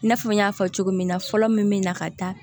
I n'a fɔ n y'a fɔ cogo min na fɔlɔ min bɛ na ka da